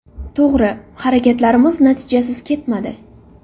To‘g‘ri, harakatlarimiz natijasiz ketmadi.